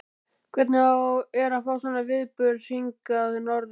Hvernig er að fá svona viðburð hingað norður?